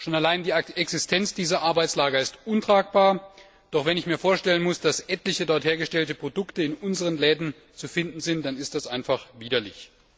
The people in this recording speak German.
Schon allein die Existenz dieser Arbeitslager ist untragbar, doch wenn ich mir vorstellen muss, dass etliche dort hergestellte Produkte in unseren Läden zu finden sind, dann ist das einfach widerlich.